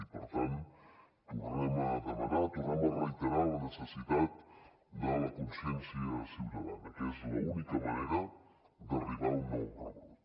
i per tant tornem a demanar tornem a reiterar la necessitat de la consciència ciutadana que és l’única manera d’arribar a un nou rebrot